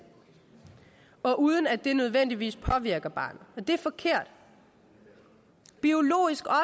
og uden at det nødvendigvis påvirker barnet det er forkert biologisk